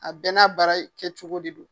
A bɛ n'a bara kɛ cogo de don.